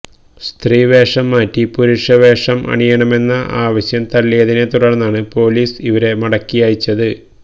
സ്ത്രീ വേഷം മാറ്റി പുരുഷവേഷം അണിയണമെന്ന ആവശ്യം തള്ളിയതിനെ തുടര്ന്നാണ് പോലീസ് ഇവരെ മടക്കിഅയച്ചത്